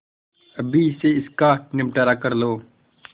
अभी से इसका निपटारा कर लो